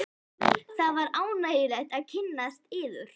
Það var ánægjulegt að kynnast yður.